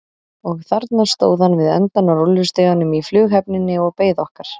Og þarna stóð hann við endann á rúllustiganum í flughöfninni og beið okkar.